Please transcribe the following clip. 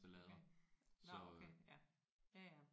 Okay nåh okay ja. Ja ja